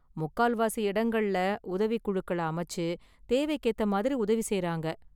முக்கால்வாசி இடங்கள்ல உதவிக் குழுக்களை அமைச்சு, தேவைக்கு ஏத்த மாதிரி உதவி செய்றாங்க​.